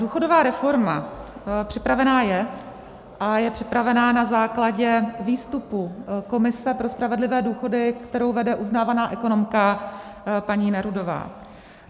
Důchodová reforma připravená je a je připravená na základě výstupu Komise pro spravedlivé důchody, kterou vede uznávaná ekonomka paní Nerudová.